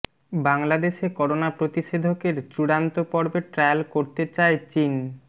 বাংলাদেশে করোনা প্রতিষেধকের চূড়ান্ত পর্বের ট্রায়াল করতে চায় চিন